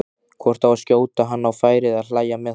hvort að skjóta hann á færi eða hlæja með honum.